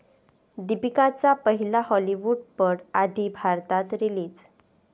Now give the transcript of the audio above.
दीपिकाचा पहिला हाॅलिवूडपट आधी भारतात रिलीज